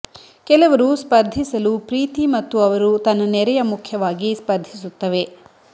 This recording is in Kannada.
ಕೆಲವರು ಸ್ಪರ್ಧಿಸಲು ಪ್ರೀತಿ ಮತ್ತು ಅವರು ತನ್ನ ನೆರೆಯ ಮುಖ್ಯವಾಗಿ ಸ್ಪರ್ಧಿಸುತ್ತವೆ